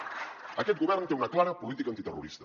aquest govern té una clara política antiterrorista